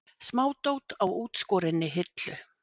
Smádót á útskorinni hillu.